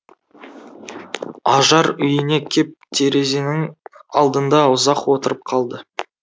ажар үйіне кеп терезенің алдында ұзақ отырып қалды